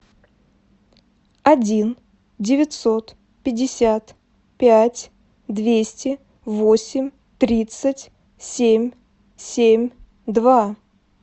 один девятьсот пятьдесят пять двести восемь тридцать семь семь два